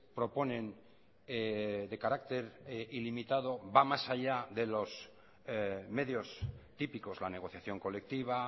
proponen de carácter ilimitado va más allá de los medios típicos la negociación colectiva